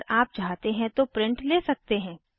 अगर आप चाहते हैं तो प्रिंट ले सकते हैं